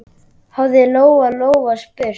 hafði Lóa-Lóa spurt.